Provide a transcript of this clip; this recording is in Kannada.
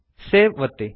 ಸೇವ್ ಒತ್ತಿ